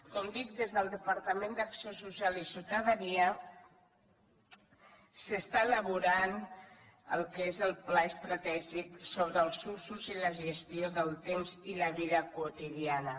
com dic des del departament d’acció social i ciutadania s’està elaborant el que és el pla estratègic sobre els usos i la gestió del temps i la vida quotidiana